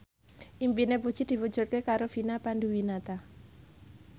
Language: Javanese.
impine Puji diwujudke karo Vina Panduwinata